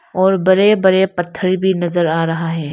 और बड़े-बड़े पत्थर भी नजर आ रहा है।